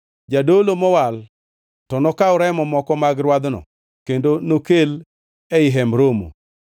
Jadolo mowal to nokaw remo moko mag rwadhno kendo nokel ei Hemb Romo.